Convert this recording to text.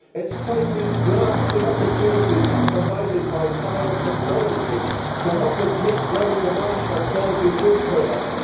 It is time we grasped the opportunities provided by biotechnology to help us meet growing demand for quality food products.